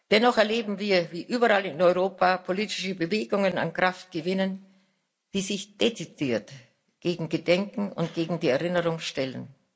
Dennoch erleben wir, wie überall in Europa politische Bewegungen an Kraft gewinnen, die sich dezidiert gegen Gedenken und gegen die Erinnerung stellen.